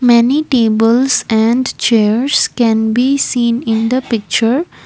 many tables and chairs can be seen in the picture.